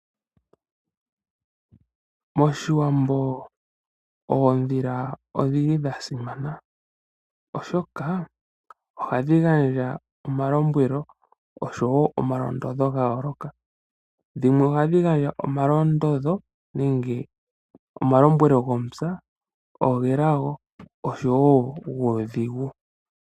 MOshiwambo oondhila odha simana, oshoka ohadhi gandja omalombwelo oshowo omalondodho ga yooloka. Dhimwe ohadhi gandja omalondodho nenge omalombwelo gomupya, ogelago oshowo guudhigu.